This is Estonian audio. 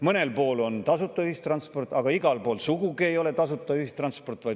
Mõnel pool on tasuta ühistransport, aga igal pool ei ole sugugi tasuta, vaid osaliselt tasuline ühistransport.